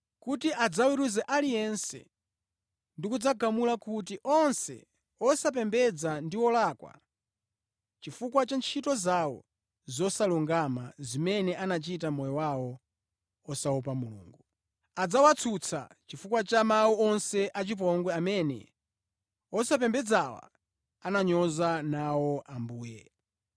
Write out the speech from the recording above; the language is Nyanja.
kuti adzaweruze aliyense, ndi kudzagamula kuti onse osapembedza ndi olakwa, chifukwa cha ntchito zawo zosalungama zimene anachita mʼmoyo wawo osaopa Mulungu. Adzawatsutsa chifukwa cha mawu onse achipongwe amene osapembedzawa ananyoza nawo Ambuye.”